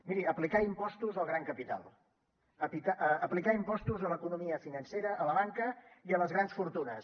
miri aplicar impostos al gran capital aplicar impostos a l’economia financera a la banca i a les grans fortunes